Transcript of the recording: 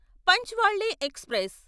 పంచ్వాళ్ళే express